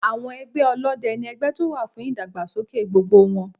Àwọn ẹgbẹ́ Ọlọ́dẹ ni ẹgbẹ́ tó wà fún ìdàgbàsókè gbogbo wọn.